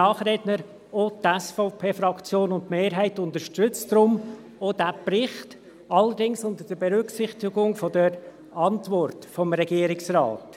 Auch die Mehrheit der SVP-Fraktion unterstützt deshalb diesen Bericht, allerdings unter Berücksichtigung der Antwort des Regierungsrates.